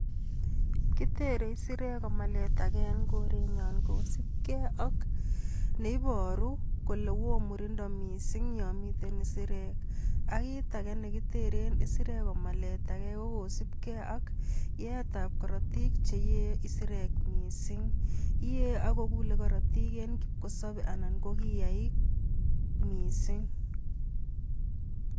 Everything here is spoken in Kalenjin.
Kitere isirek komaletage en korenyon kosiibge ak neiboru kole woo murindo missing yon mitten isirek, ak kit age nekiteren isirek komaletage ko kosiibge ak yeetab korotik ,kulee korotik en kipkosobei anan ko kiyaagiik missing.